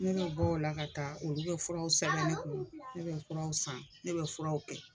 Ne be bɔ o la ka taa olu be furaw sɛbɛn ne kun ne be furaw san ne be furaw kɛ